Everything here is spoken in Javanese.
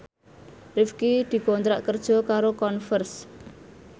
Rifqi dikontrak kerja karo Converse